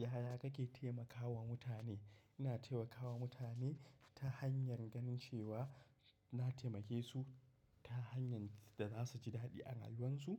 Yaya kake taimakawa mutane? Ina taimakawa mutane ta hanyar ganin cewa na taimakesu ta hanyar da zasuji daɗi a rayuwansu.